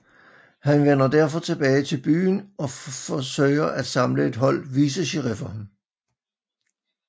Han vender derfor tilbage til byen og forsøger at samle et hold vicesheriffer